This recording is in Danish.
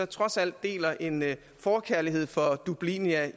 trods alt deler en forkærlighed for dublinia